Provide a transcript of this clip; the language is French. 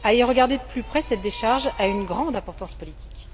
à y regarder de plus près, cette décharge a une grande importance politique.